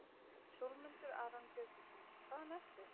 Sólmundur Aron Björgólfsson Hvaðan ertu?